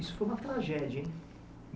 Isso foi uma tragédia, hein?